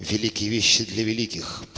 великие вещи для великих